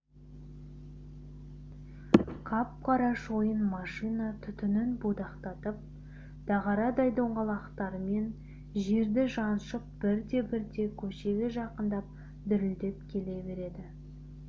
қап-қара шойын машина түтінін будақтатып дағарадай доңғалақтарымен жерді жаншып бірте-бірте көшеге жақындап дүрілдеп келе берді